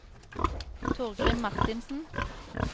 Torgrim Marthinsen